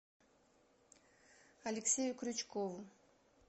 алексею крючкову